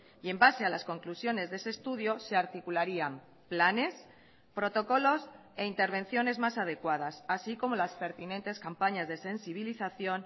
y en base a las conclusiones de ese estudio se articularían planes protocolos e intervenciones más adecuadas así como las pertinentes campañas de sensibilización